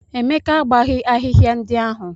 Emeka agbaghị ahịhịa ndị ahụ.